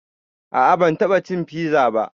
A'a ban taɓa cin fiza ba